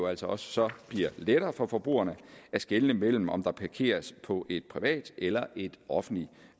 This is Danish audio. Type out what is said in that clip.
altså også bliver lettere for forbrugerne at skelne mellem om der parkeres på et privat eller et offentligt